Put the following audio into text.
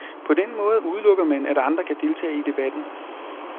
På den måde udelukker man, at andre kan deltage i debatten.